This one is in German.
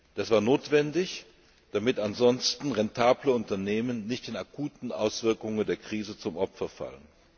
Das war notwendig, damit ansonsten rentable Unternehmen nicht den akuten Auswirkungen der Krise zum Opfer fallen.